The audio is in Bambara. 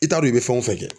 I t'a dɔn i bɛ fɛn o fɛn kɛ